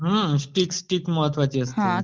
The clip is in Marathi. हां स्टिक स्टिक महत्वाची असते